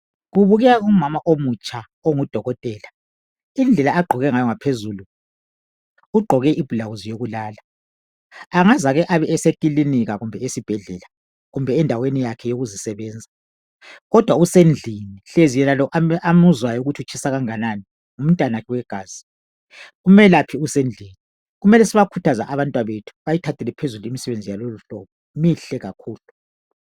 Kubukeka umama omutsha ongudokotela. Ugqoke ibhulawuzi yokulala angazake abesekilinika , esibhedlela kumbe endaweni yakhe yokuzisebenza kodwa usendlini. Kungenzeka lo amuzwayo ukuthi utshisa kangani ngumntanakhe. Kumele sibakhuthaze abantwabethu bathathe limisebenzi mihle kakhulu.